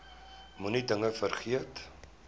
moenie dinge vergeet